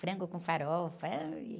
Frango com farofa. Ai...